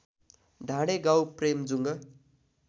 ढाडे गाउँ प्रेमेजुङ्ग